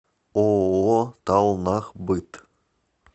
ооо талнахбыт